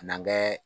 N'an bɛ